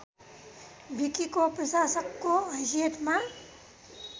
विकिको प्रशासकको हैसियतमा